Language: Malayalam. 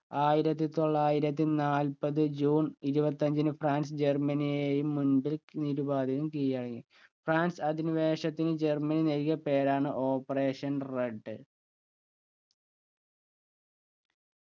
ആയിരത്തി തൊള്ളായിരത്തി നാൽപ്പത് ജൂൺ ഇരുപത്തഞ്ചിന് ഫ്രാൻസ് ജർമ്മനിയെയും മുമ്പിൽ നിരുപാധികം കീഴടങ്ങി. ഫ്രാൻസ് അധിനിവേശത്തിന് ജർമ്മനി നൽകിയ പേരാണ് operation red